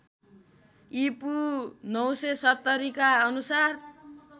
ईपू ९७० का अनुसार